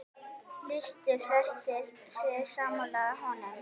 Lýstu flestir sig sammála honum.